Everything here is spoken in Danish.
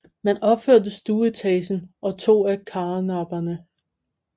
Man opførte stueetagen og to af karnapperne